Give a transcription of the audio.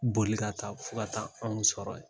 Boli ka taa fo ka ta anw sɔrɔ yen.